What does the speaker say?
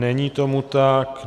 Není tomu tak.